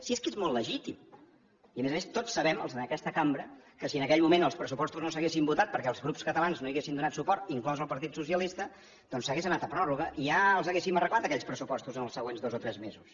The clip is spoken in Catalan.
si és que és molt legítim i a més a més tots sabem els d’aquesta cambra que si en aquell moment els pressupostos no s’haguessin votat perquè els grups catalans no hi haguessin donat suport inclòs el partit dels socialistes doncs s’hauria anat a pròrroga i ja els hauríem arreglat aquells pressupostos en els següents dos o tres mesos